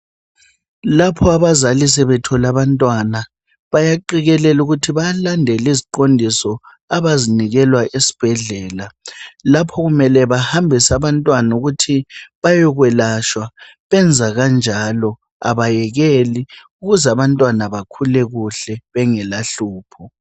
Lapho abazali sebethole abantwana, bayaqikelela ukuthi bayalandela iziqondiso abazinikelwa esibhedlela. Lapho kumele bahambise abantwana ukuthi bayokwelashwa, benza kanjalo, abayekeli, ukuze abantwana bakhule kuhle bengelahlupho.